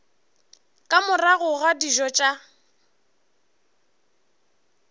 ka morago ga dijo tša